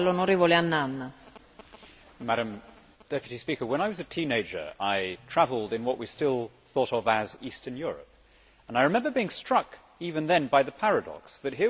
Madam President, when I was a teenager I travelled in what we still thought of as Eastern Europe and I remember being struck, even then, by the paradox that here was a system that nobody believed in.